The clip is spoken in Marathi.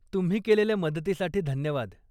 तुम्ही केलेल्या मदतीसाठी धन्यवाद.